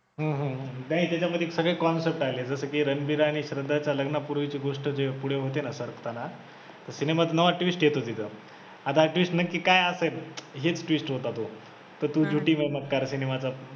हम्म हम्म हम्म नाही त्याच्यामधी सगळे concept आलेत जसं की रणबीर आणि श्रद्धाचं लग्न पुरवायची गोष्ट जी होते ना पुढे सरकताना तेव्हा सिनेमात नवा twist येतो तिथे आता हा twist नक्की काय असेल हेच twist होता तो